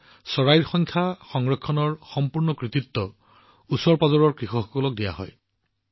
ইয়াত চৰাইৰ সংখ্যা সংৰক্ষণৰ সম্পূৰ্ণ কৃতিত্ব এলেকাটোৰ কৃষকসকললৈ যায়